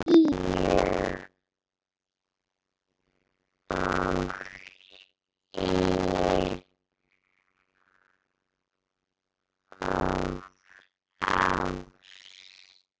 Hlýju og yl og ást.